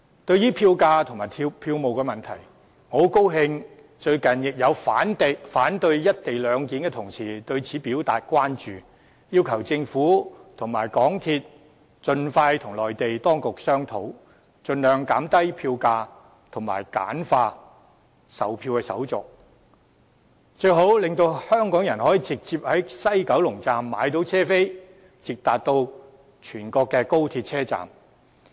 對於票價和票務問題，我很高興近日亦有反對"一地兩檢"的同事對此表達關注，要求政府和香港鐵路有限公司盡快與內地當局商討，盡量減低票價和簡化售票手續，最好能讓香港人可以直接在西九龍站購買車票，直達全國高鐵車站。